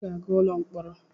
I ga-aga ụlọ mkpọrọ!